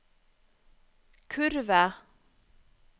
kurve